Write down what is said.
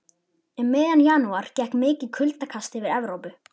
Um miðjan janúar gekk mikið kuldakast yfir Evrópu.